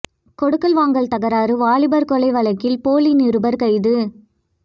கொடுக்கல் வாங்கல் தகராறு வாலிபர் கொலை வழக்கில் போலி நிருபர் கைது